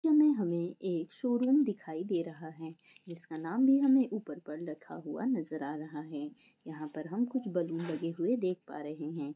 यहाँ मे एक शोरूम दीखाई दे रहा हैं जिसका नाम भी उपर पर रखा हुआ नजर आ रहा हैं यहाँ पे कुछ बलून लगे हुये देख पा रहे हैं।